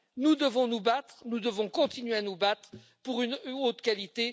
Nous devons nous battre, nous devons continuer à nous battre pour une eau de qualité.